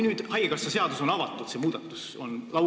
Nüüd on haigekassa seadus avatud, see muudatus on laual.